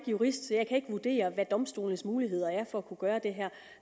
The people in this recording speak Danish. jurist så jeg kan ikke vurdere hvad domstolenes muligheder for at kunne gøre det her er